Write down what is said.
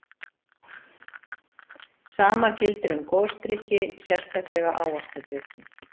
Sama gildir um gosdrykki, sérstaklega ávaxtadrykki.